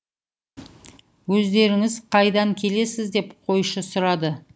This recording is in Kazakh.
өздеріңіз қайдан келесіз деп қойшы сұрады